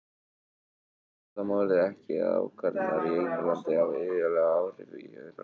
Það einfaldar málið ekki að ákvarðanir í einu landi hafa iðulega áhrif í öðrum löndum.